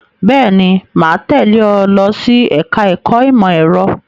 Bẹ́ẹ̀ ni, mà á tẹ́lẹ̀ ẹ lọ sí ẹ̀ka-ẹ̀kọ́ ìmọ̀-ẹ̀rọ.